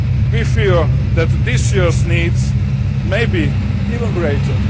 We fear that this year's needs maybe even greater.